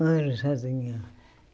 Moro sozinha.